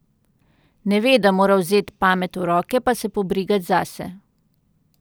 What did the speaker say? Ne ve, da mora vzet pamet v roke pa se pobrigat zase.